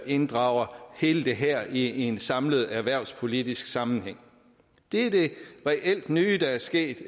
inddrager hele det her i en samlet erhvervspolitisk sammenhæng det er det reelt nye der er sket